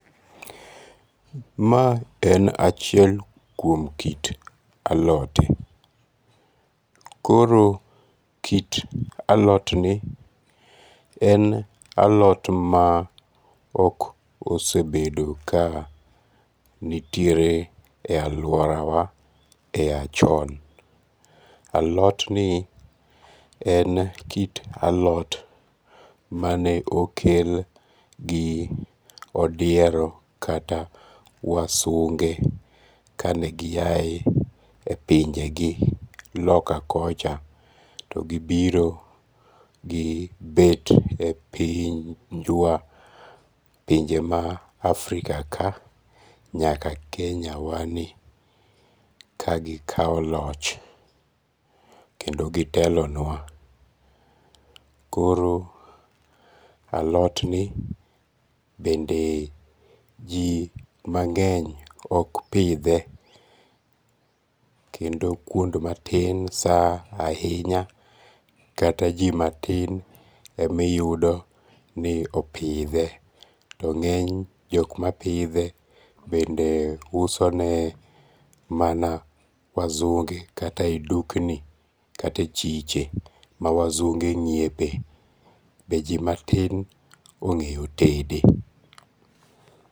Mae en achiel kuom kit alote, koro kit alotni en alot ma ok osebedo ka nitiere e aluorawa e ya chon, alotni en kit alot mane okel gi odiero kata wasunge' kane giyae e pinjegi loka kocha kane gibiro gibet e pinjwa e pinje mar Afika kae nyaka Kenyawani ka gikawo loch kendo gitelonwa, koro alotni benden ji mange' ok pithe kendo kuond matin ahinya kata ji matin emiyudo ni opithe to nge'ny jok ma pithe bende usone mana wasunge kata e dukni kata e chiche ma wasunge' nyiepe bende ji matin onge'yo tede